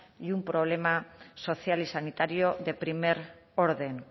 y un problema social y sanitario de primer orden